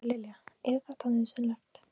María Lilja: Er þetta nauðsynlegt?